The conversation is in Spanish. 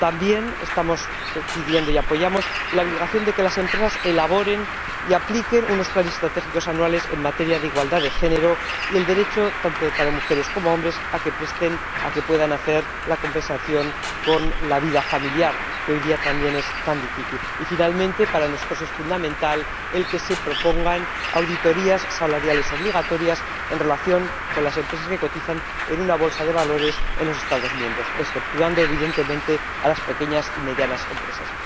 También estamos pidiendo y apoyando la obligación de que las empresas elaboren y apliquen unos planes estratégicos anuales en materia de igualdad de género, así como el derecho, tanto para mujeres como para hombres, a la conciliación de la vida laboral con la vida familiar, que, hoy en día, también es tan difícil. Y, por último, para nosotros es fundamental que se propongan auditorías salariales obligatorias en relación con las empresas que cotizan en una bolsa de valores en los Estados miembros, exceptuando, evidentemente, las pequeñas y medianas empresas.